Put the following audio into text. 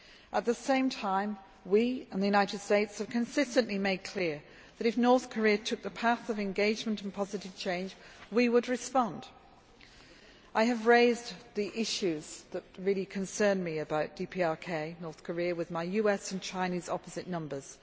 At the same time we and the United States have consistently made clear that if the North Korea took the path of engagement and positive change, we would respond. I have raised the issues that really concerned me about Democratic People's Republic of Korea with my US and Chinese opposite numbers.